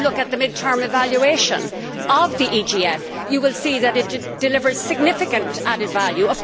If you look at the mid term evaluation of the EGF you will see that it delivers significant added value.